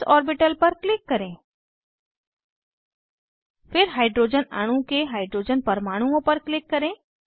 S orbital पर click करें फिर हाइड्रोजन अणु के हाइड्रोजन परमाणुओं पर क्लिक करें